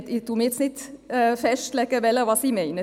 Ich lege mich nun nicht fest, welche ich meine.